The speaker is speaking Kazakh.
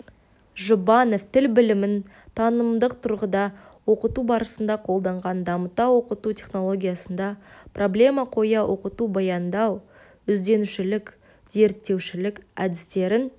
жұбанов тіл білімін танымдық тұрғыда оқыту барысында қолданған дамыта оқыту технологиясында проблема қоя оқыту баяндау ізденушілік зерттеушілік әдістерін